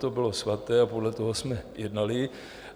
To bylo svaté a podle toho jsme jednali.